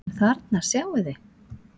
En þarna sjáið þið!